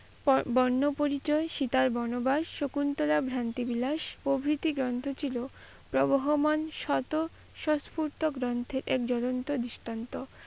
বর্ণপরিচয়, সীতার-বনবাস, শকুন্তলা, ভ্রান্তিবিলা প্রভৃতি গ্রন্থ ছিল। প্রবাহ মানে শত শাষপুরতো গ্রন্থের এক জ্বলন্ত দৃষ্টান্ত।